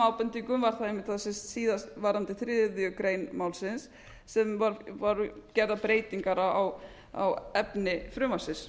ábendingum var það einmitt varðandi þriðju grein málsins sem voru gerðar breytingar á efni frumvarpsins